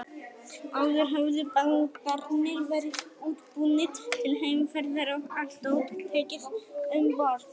Áður höfðu bátarnir verið útbúnir til heimferðar og allt dót tekið um borð.